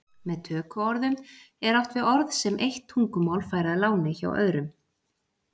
Með tökuorðum er átt við orð sem eitt tungumál fær að láni hjá öðru.